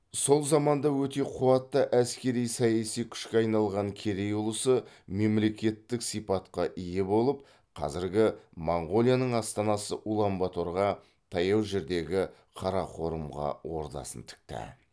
сол заманда өте қуатты әскери саяси күшке айналған керей ұлысы мемлекеттік сипатқа ие болып қазіргі монғолияның астанасы улан баторға таяу жердегі қарақорымға ордасын тікті